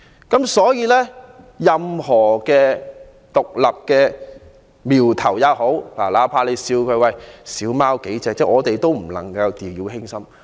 因此，對於任何獨立的苗頭，哪怕涉及人數少，我們也不能掉以輕心。